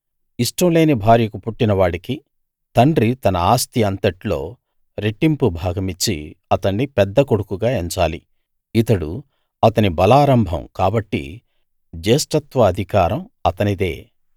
ఇష్టం లేని భార్యకు పుట్టిన వాడికి తండ్రి తన ఆస్తి అంతట్లో రెట్టింపు భాగమిచ్చి అతణ్ణి పెద్ద కొడుకుగా ఎంచాలి ఇతడు అతని బలారంభం కాబట్టి జ్యేష్ఠత్వ అధికారం అతనిదే